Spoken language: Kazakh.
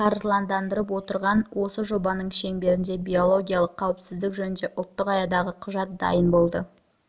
қаржыландырып отырған осы жобаның шеңберінде биологиялық қауіпсіздік жөнінде ұлттық аядағы құжат дайын болды